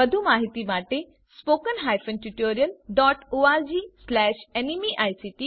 વધુ માહિતી માટે httpspoken tutorialorgNMEICT